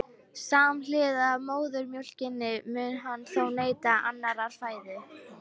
Samhliða móðurmjólkinni mun hann þó neyta annarrar fæðu.